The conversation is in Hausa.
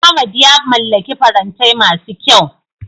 Ahmad ya mallaki farantai masu kyau.